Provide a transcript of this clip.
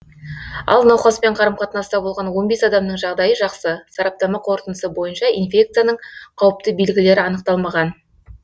ал науқаспен қарым қатынаста болған он бес адамның жағдайы жақсы сараптама қорытындысы бойынша инфекцияның қауіпті белгілері анықталмаған